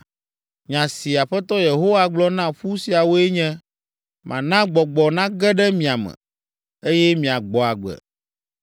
Nya si Aƒetɔ Yehowa gblɔ na ƒu siawoe nye, mana gbɔgbɔ nage ɖe mia me, eye miagbɔ agbe.